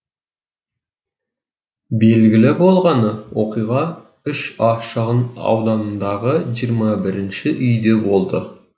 белгілі болғаны оқиға үш а шағын ауданындағы жиырма бірінші үйде болды